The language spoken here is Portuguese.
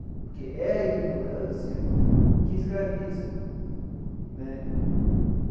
Porque é a ignorância que escraviza né.